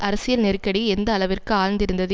அரசியல் நெருக்கடி எந்த அளவிற்கு ஆழ்ந்திருந்தது